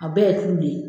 A bɛɛ ye tulo de ye